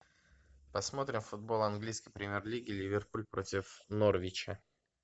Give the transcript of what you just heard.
посмотрим футбол английской премьер лиги ливерпуль против норвича